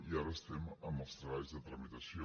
i ara estem amb els treballs de tramitació